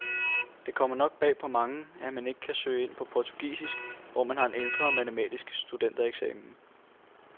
Det kommer nok bag på mange, at man ikke kan søge ind på portugisisk, hvis man har en ældre matematisk studentereksamen.